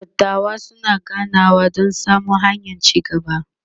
dattawan suna ganawa Dan samo hanyan ci gaba